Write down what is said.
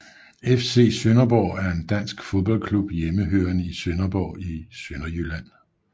FC Sønderborg er en dansk fodboldklub hjemmehørende i Sønderborg i Sønderjylland